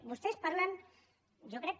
vostès parlen jo crec que